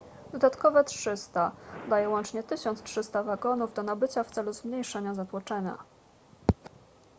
dodatkowe 300 daje łącznie 1300 wagonów do nabycia w celu zmniejszenia zatłoczenia